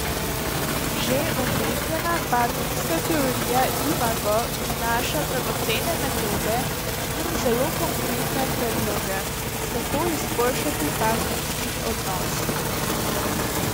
Že omenjena partnerska teorija Imago prinaša dragocene metode in zelo konkretne predloge, kako izboljšati partnerski odnos.